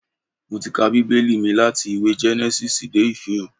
Mo ti ka Bíbẹ́lì mi láti ìwé Gẹ́nẹ́sísì dé Ìfihàn